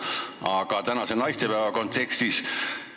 Aga tänase naistepäeva kontekstis küsin järgmist.